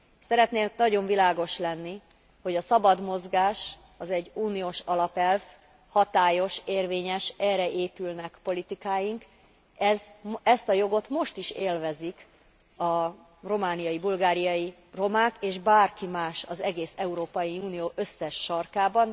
Szeretnék nagyon világos lenni, hogy a szabad mozgás egy uniós alapelv, hatályos, érvényes, erre épülnek politikáink, ezt a jogot most is élvezik a romániai, bulgáriai romák, és bárki más az egész Európai Unió összes sarkában.